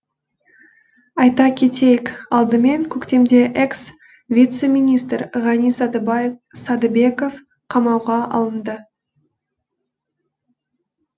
айта кетейік алдымен көктемде экс вице министр ғани садыбеков қамауға алынды